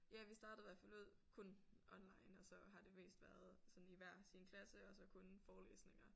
Ja vi startede hvert fald ud kun online og så har det mest været sådan i hver sin klasse og så kun forelæsninger